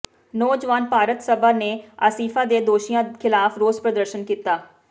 ਨੌਜਵਾਨ ਭਾਰਤ ਸਭਾ ਨੇ ਆਸਿਫਾ ਦੇ ਦੋਸ਼ੀਆਂ ਿਖ਼ਲਾਫ਼ ਰੋਸ ਪ੍ਰਦਰਸ਼ਨ ਕੀਤਾ